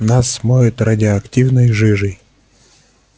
нас смоет радиоактивной жижей